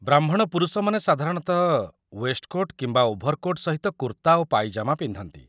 ବ୍ରାହ୍ମଣ ପୁରୁଷମାନେ ସାଧାରଣତଃ ୱେଷ୍ଟକୋଟ୍ କିମ୍ବା ଓଭର୍‌କୋଟ୍ ସହିତ କୁର୍ତ୍ତା ଓ ପାଇଜାମା ପିନ୍ଧନ୍ତି